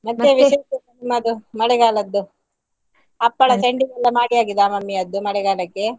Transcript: ಮಳೆಗಾಲದ್ದು ಹಪ್ಪಳ ಸಂಡಿಗೆ ಎಲ್ಲ ಮಾಡಿ ಆಗಿದ mummy ಯದ್ದು ಮಳೆಗಾಲಕ್ಕೆ?